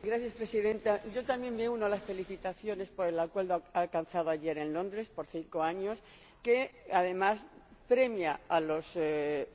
Señora Presidenta, yo también me uno a las felicitaciones por el acuerdo alcanzado ayer en Londres, por cinco años, que además premia a los